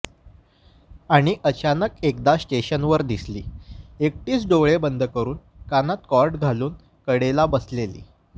आणि अचानक एकदा स्टेशनवर दिसली एकटीच डोळे बंद करून कानात कॉर्ड घालून कडेला बसलेली